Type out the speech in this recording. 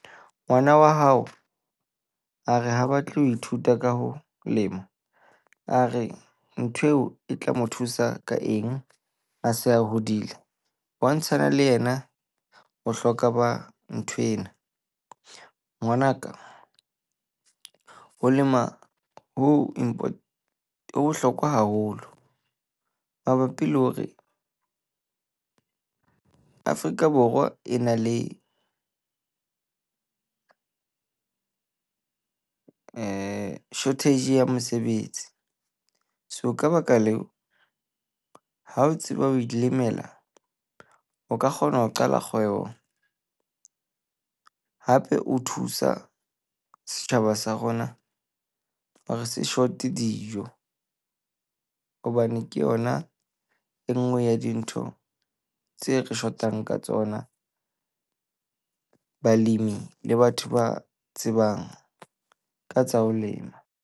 Ngwana wa hao a re ha batle ho ithuta ka ho lema, a re nthweo e tla mo thusa ka eng, a se a hodile? Bontshana le ena bohlokwa ba nthwena. Ngwanaka, ho lema ho ho bohlokwa haholo mabapi le hore Afrika Borwa e na le shortage ya mosebetsi. So ka baka leo, ha o tseba ho ilemela, o ka kgona ho qala kgwebo hape o thusa setjhaba sa rona hore se dijo. Hobane ke yona e nngwe ya dintho tse re shotang ka tsona. Balemi le batho ba tsebang ka tsa ho lema.